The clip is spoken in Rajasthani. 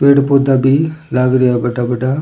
पेड़ पौधा भी लाग रा हैं बड़ा बड़ा।